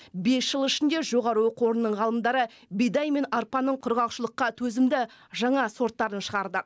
бес жыл ішінде жоғары оқу орнының ғалымдары бидай мен арпаның құрғақшылыққа төзімді жаңа сорттарын шығарды